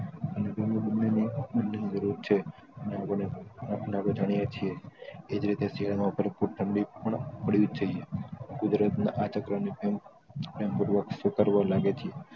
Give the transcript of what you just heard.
અને તેમને બન્નેઓ ને જાણીએ જ છીએ એજ રીતે શિયાળામાં બરાબર ઠંડી પણ પાડવીજ જોયિયે કુદરતમાં આ લાગે છે